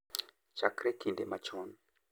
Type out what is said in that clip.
Chakre kinde machon, .